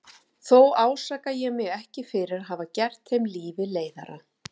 Þó ásaka ég mig ekki fyrir að hafa gert þeim lífið leiðara.